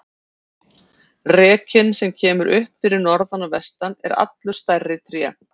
Rekinn sem kemur upp fyrir norðan og vestan er allur stærri tré.